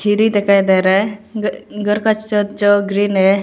सीढी दिखाई दे रहा है घ घर का छत छ ग्रीन है।